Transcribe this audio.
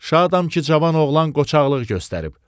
Şadam ki, cavan oğlan qoçaqlıq göstərib.